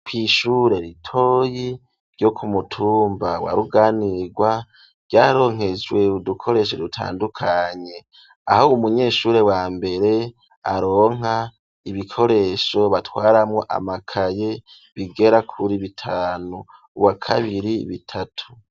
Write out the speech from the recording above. Kw'ishure ritoyi ryo kumutumba wa ruganirwa, vyaronkejwe udukoresho rutandukanye, aho umunyeshuri wa mbere aronka ibikoresho batwaramwo, amakaye bigera kuri bitanu, wa kabiri bitatu.